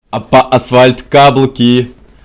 а по асфальту каблуки